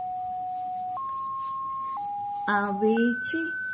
આવે છે.